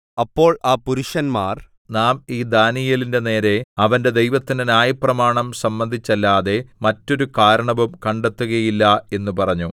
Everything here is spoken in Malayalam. അപ്പോൾ ആ പുരുഷന്മാർ നാം ഈ ദാനീയേലിന്റെ നേരെ അവന്റെ ദൈവത്തിന്റെ ന്യായപ്രമാണം സംബന്ധിച്ചല്ലാതെ മറ്റൊരു കാരണവും കണ്ടെത്തുകയില്ല എന്നു പറഞ്ഞു